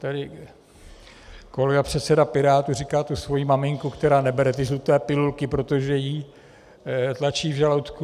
Tady kolega předseda Pirátů říkal tu svoji maminku, která nebere ty žluté pilulky, protože ji tlačí v žaludku.